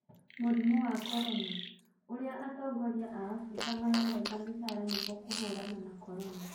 Mũrimũ wa corona: Ũrĩa atongoria a Afrika mararenga mĩcaara nĩguo kũhũrana na Corona